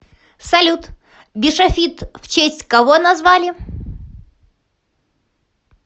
салют бишофит в честь кого назвали